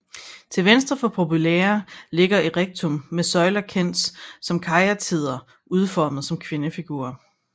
Til venstre for Propylæa ligger Erechteum med søjler kendt som karyatider udformet som kvindefigurer